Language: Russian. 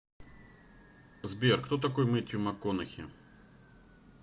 сбер кто такой мэттью макконахи